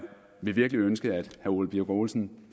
vil virkelig ønske at herre ole birk olesen